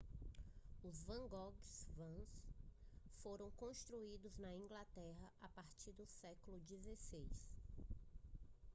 os wagonways foram construídos na inglaterra a partir do século 16